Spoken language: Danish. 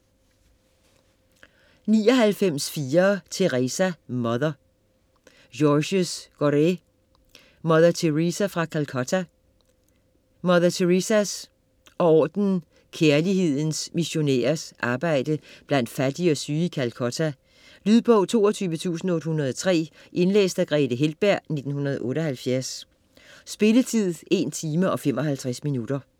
99.4 Teresa: Mother Gorrée, Georges: Mother Teresa fra Calcutta Mother Teresas og ordenen "Kærlighedens Missionærer"s arbejde blandt fattige og syge i Calcutta. Lydbog 22803 Indlæst af Grethe Heltberg, 1978. Spilletid: 1 timer, 55 minutter.